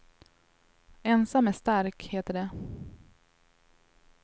Ensam är stark, heter det.